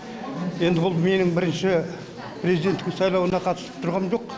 енді бұл менің бірінші президентің сайлауына қатысып тұрғам жоқ